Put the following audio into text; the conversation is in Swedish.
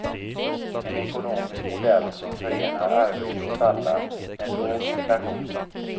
En ekonomisk modell som förenar arbete åt alla med låg inflation.